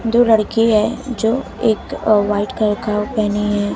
दो लड़की है जो एक वाइट कलर का पहनी है।